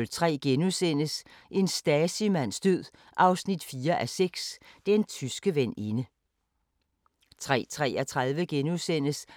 13:33: